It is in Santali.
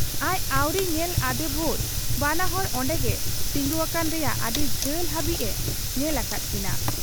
ᱟᱡ ᱟᱹᱣᱨᱤ ᱧᱮᱞ ᱟᱫᱮ ᱵᱷᱩᱨ ᱵᱟᱱᱟ ᱦᱚᱲ ᱚᱱᱰᱮᱜᱮ ᱛᱤᱸᱜᱩᱣᱟᱠᱟᱱ ᱨᱮᱭᱟᱜ ᱟᱹᱰᱤ ᱡᱷᱟᱹᱞ ᱦᱟᱹᱵᱤᱡ ᱮ ᱧᱮᱞ ᱟᱠᱟᱫ ᱠᱤᱱᱟ ᱾